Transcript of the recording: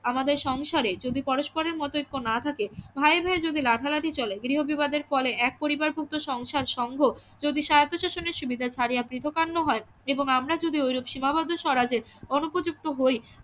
আমাদের সংসারে যদি পরস্পরে প্রতি ঐক্য না থাকে ভায়ে ভায়ে যদি লাঠা লাঠি চলে গৃহ বিবাদের ফলে এক পরিবার পুত্র সংসার সঙ্ঘ যদি স্বায়ত্তশাসনের সুবিধা ছাড়িয়া পৃথকান্ন হয় এবং আমরা যদি ওইরূপ সীমাবদ্ধ স্বরাজে অনুপযুক্ত হই